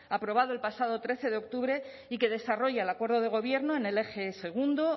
aprobado el pasado trece de octubre y que desarrolla el acuerdo de gobierno en el eje segundo